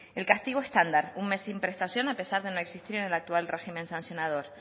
el castigo estándar un mes sin prestación a pesar de no existir en el actual régimen sancionador